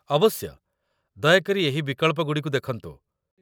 ଅବଶ୍ୟ, ଦୟାକରି ଏହି ବିକଳ୍ପଗୁଡ଼ିକୁ ଦେଖନ୍ତୁ